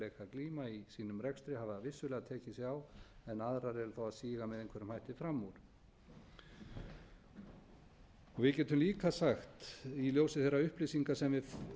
glíma í sínum rekstri hafa vissulega tekið sig á en aðrar eru þó að síga með einhverjum hætti fram úr við getum líka sagt í ljósi þeirra upplýsinga sem við